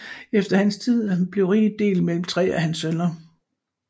Efter hans tid blev riget delt mellem tre af hans sønner